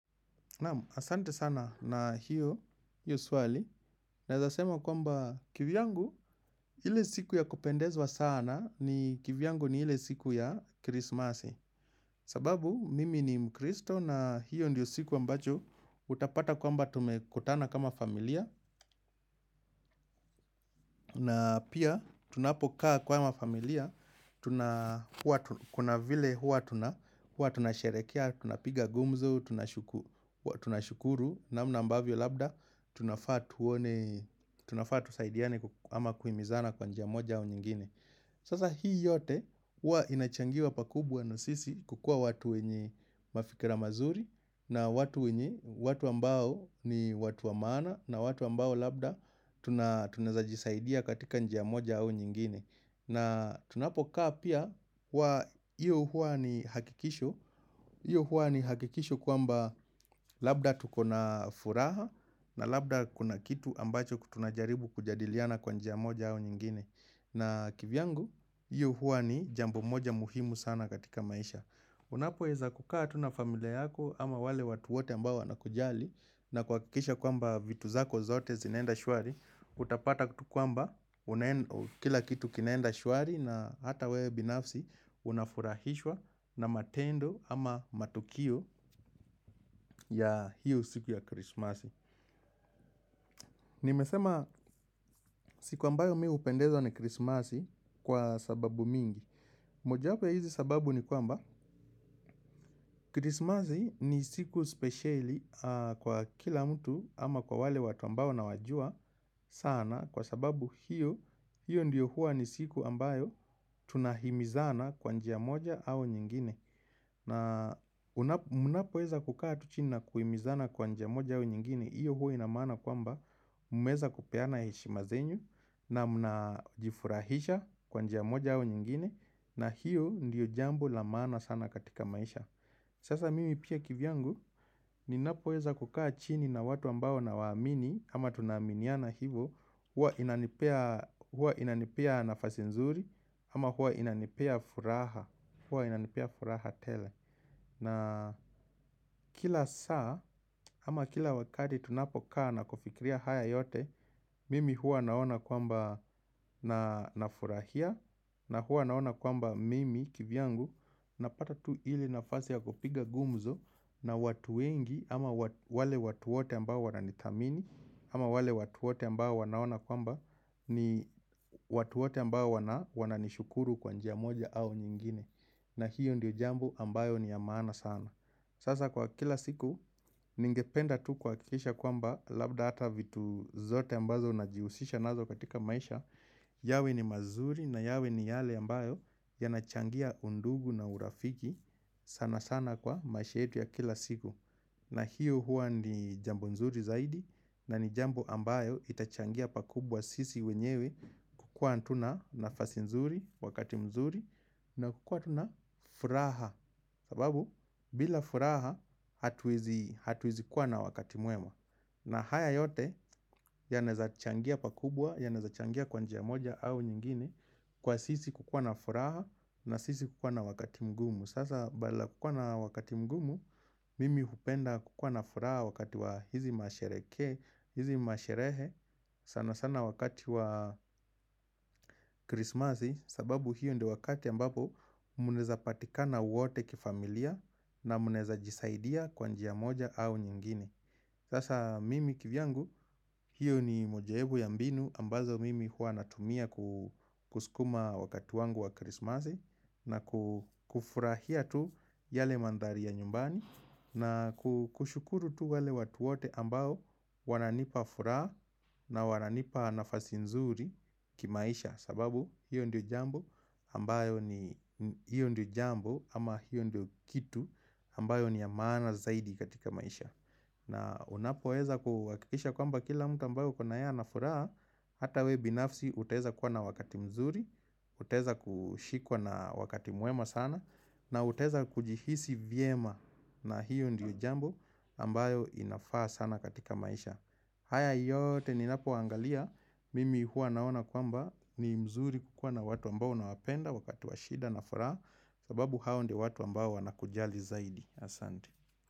Naam, asante sana na hiyo, hiyo swali. Naweza sema kwamba kivyangu, ile siku ya kupendezwa sana ni kivyangu ni ile siku ya krismasi. Sababu, mimi ni mkristo na hiyo ndiyo siku ambacho utapata kwamba tumekutana kama familia. Na pia tunapokaa kama familia, kuna vile hua tunasherekea, tunapiga gumzo, tunashukuru, namna ambavyo labda, tunafaa tusaidiane ama kuhimizana kwa njia moja au nyingine. Sasa hii yote huwa inachangiwa pakubwa na sisi kukuwa watu wenye mafikira mazuri na watu wenye, watu ambao ni watu wa maana na watu ambao labda tunaezajisaidia katika njia moja au nyingine. Na tunapokaa pia kwa hiyo huwa ni hakikisho, hiyo huwa ni hakikisho kwamba labda tuko na furaha na labda kuna kitu ambacho kutunajaribu kujadiliana kwa njia moja au nyingine. Na kivyangu, hiyo huwa ni jambo moja muhimu sana katika maisha. Unapoeza kukaa tu na familia yako ama wale watu wote ambao wanakujali na kuhakikisha kwamba vitu zako zote zinaenda shwari, utapata kutu kwamba kila kitu kinaenda shwari na hata wewe binafsi unafurahishwa na matendo ama matukio ya hiyo siku ya krismasi. Nimesema siku ambayo mi hupendezwa ni krismasi kwa sababu mingi. Moja hapo ya hizi sababu ni kwamba, krismasi ni siku speciali kwa kila mtu ama kwa wale watu ambao na wajua sana kwa sababu hiyo, hiyo ndiyo huwa ni siku ambayo tunahimizana kwa njia moja au nyingine. Na munapoeza kukaa tu chini na kuimizana kwa njia moja au nyingine, iyo huo inamaana kwamba mumeweza kupeana heshima zenyu na mnajifurahisha kwa njia moja au nyingine na hiyo ndiyo jambo la maana sana katika maisha Sasa mimi pia kivyangu Ninapo weza kukaa chini na watu ambao na waamini, ama tunaminiana hivo huwa inanipea nafasi nzuri Ama huwa inanipea furaha, huwa inanipea furaha tele na kila saa ama kila wakati tunapokaa na kufikiria haya yote mimi huwa naona kwamba na nafurahia na huwa naona kwamba mimi kivyangu napata tu ile nafasi ya kupiga gumzo na watu wengi ama wale watu wote ambao wananidhamini ama wale watu wote ambao wanaona kwamba ni watu wote ambao wananishukuru kwa njia moja au nyingine. Na hiyo ndio jambo ambayo ni ya maana sana Sasa kwa kila siku, ningependa tu kuhakikisha kwamba labda hata vitu zote ambazo ujihusisha nazo katika maisha yawe ni mazuri na yawe ni yale ambayo yanachangia undugu na urafiki sana sana kwa maisha yetu ya kila siku na hiyo huwa ni jambo nzuri zaidi, na ni jambo ambayo itachangia pakubwa sisi wenyewe kukuwa tu na nafasi nzuri wakati mzuri na kukuwa tu na furaha sababu bila furaha hatuwezi kuwa na wakati mwema na haya yote yanaweza changia pakubwa yanaweza changia kwa njia moja au nyingine kwa sisi kukuwa na furaha na sisi kukuwa na wakati mgumu sasa badala ya kukuwa na wakati mgumu mimi hupenda kukuwa na furaha wakati wa hizi masherekee hizi masherehe sana sana wakati wa krismasi sababu hiyo ndio wakati ambapo munaweza patikana wote kifamilia na munaweza jisaidia kwa njia moja au nyingine Sasa mimi kivyangu hiyo ni moja ebu ya mbinu ambazo mimi huwa natumia kusukuma wakati wangu wa krismasi na kufurahia tu yale mandhari ya nyumbani na kushukuru tu wale watu wote ambao wananipa furaha na wananipa nafasi nzuri kimaisha sababu hiyo ndio jambo ambayo ni hiyo ndio jambo ama hiyo ndio kitu ambayo ni ya maana zaidi katika maisha na unapo weza kuhakikisha kwamba kila mtu ambaye uko na yeye anafuraha Hata weww binafsi utaweza kuwa na wakati mzuri, utaweza kushikwa na wakati mwema sana na utaweza kujihisi vyema na hiyo ndio jambo ambayo inafaa sana katika maisha haya yote ninapo angalia, mimi huwa naona kwamba ni mzuri kukuwa na watu ambao unawapenda wakati wa shida na furaha sababu hao ndio watu ambao wanakujali zaidi. Asanti.